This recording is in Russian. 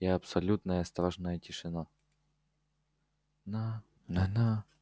и абсолютная страшная тишина на на на